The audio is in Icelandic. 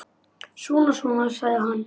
Svona, svona, sagði hann.